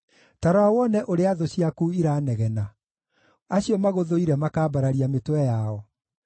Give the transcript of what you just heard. Ta rora wone ũrĩa thũ ciaku iranegena, acio magũthũire makambararia mĩtwe yao.